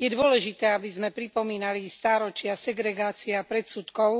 Je dôležité, aby sme pripomínali stáročia segregácie a predsudkov,